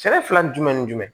Sɛnɛ fila ni jumɛn ni jumɛn